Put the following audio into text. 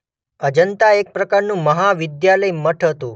અજંતા એક પ્રકારનું મહાવિદ્યાલય મઠ હતું.